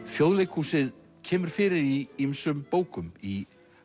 Þjóðleikhúsið kemur fyrir í ýmsum bókum í